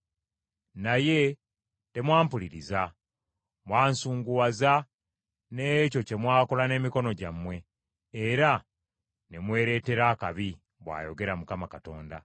“Naye temwampuliriza, mwansunguwaza n’ekyo kye mwakola n’emikono gyammwe, era ne mwereetera akabi,” bw’ayogera Mukama Katonda.